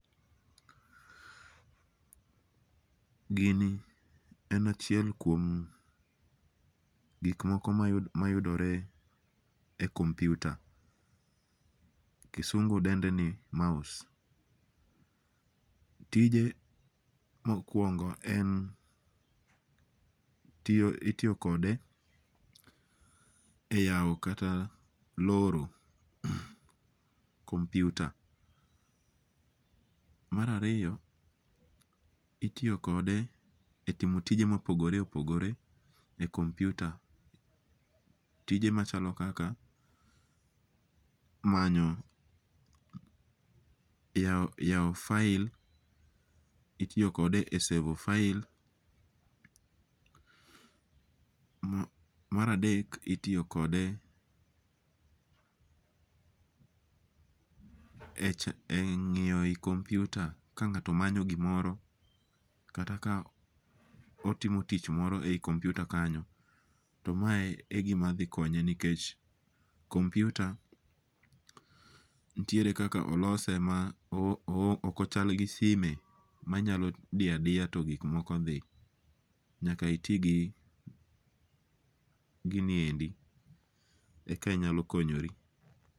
Gini en achiel kuom gik moko ma yudore e computer, kisungu dende ni mouse, tije mokuongo en itiyo kade e yao kata loro computer. Marariyo itiyo kode e timo tije mopogore opogoje e computer, tije machalo kaka manyo yao file , itiyo kode e sevo file. Maradek itiyo kade e ngi'yo eyi computer ka nga'to manyo gimoro kata ka otimo tich mor eyi computer kanyo, to mae e gimathi konye nikech computer nitiere kaka olose ma okochal gi sime ma nyalo diya diya to gik moko thi, nyaka iti gi giniendi eka inyalo konyori.